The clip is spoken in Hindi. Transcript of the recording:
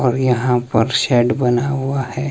और यहां पर शेड बना हुआ है।